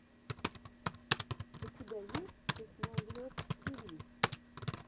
у тебя есть техноглоб тиви